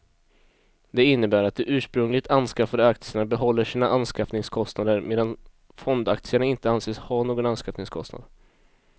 Det innebär att de ursprungligt anskaffade aktierna behåller sina anskaffningskostnader medan fondaktierna inte anses ha någon anskaffningskostnad.